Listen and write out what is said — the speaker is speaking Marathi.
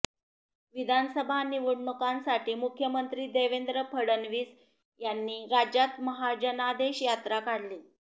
विधानसभा निवडणुकांसाठी मुख्यमंत्री देवेंद्र फडणवीस यांनी राज्यात महाजनादेश यात्रा काढली